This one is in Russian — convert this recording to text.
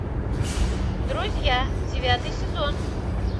друзья девятый сезон